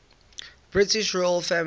british royal family